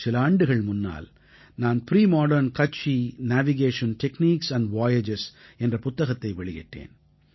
சில ஆண்டுகள் முன்னால் நான் premodern Kutchi navigation techniques and voyages என்ற புத்தகத்தை வெளியிட்டேன்